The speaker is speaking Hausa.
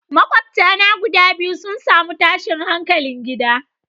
Makwabta na guda biyu sun samu tashin hankalin gida.